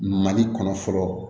Mali kɔnɔ fɔlɔ